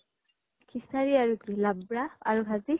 খিচাৰী আৰু কি লাবৰা আৰু ভাজি।